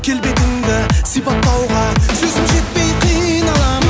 келбетіңді сипаттауға сөзім жетпей қиналамын